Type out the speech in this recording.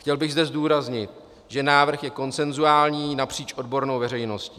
Chtěl bych zde zdůraznit, že návrh je konsenzuální napříč odbornou veřejností.